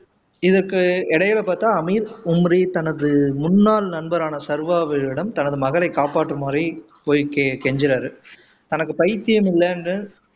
இதுக்கு இடையில பார்த்தா அமீர் உம்ரி தனது முன்னாள் நண்பரான சர்வாவிடம் தனது மகளை காப்பாற்றுமாரு போய் கே கெஞ்சுராரு தனக்கு பைத்தியம் இல்லைன்னு